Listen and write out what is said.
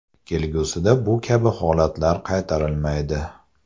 Kelgusida bu kabi holatlar qaytarilmaydi.